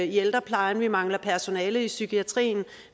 ældreplejen at vi mangler personale i psykiatrien og